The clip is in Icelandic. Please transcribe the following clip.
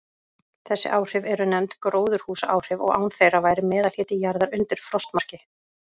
Þessi áhrif eru nefnd gróðurhúsaáhrif, og án þeirra væri meðalhiti jarðar undir frostmarki.